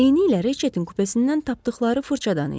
Eynilə retinin kupesindən tapdıqları fırçadan idi.